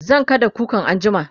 zan kada kukan anjima